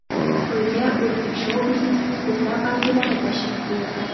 To‘yga o‘zbek shou-biznesining ko‘plab vakillari tashrif buyurdi .